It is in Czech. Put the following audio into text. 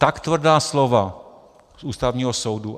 Tak tvrdá slova z Ústavního soudu.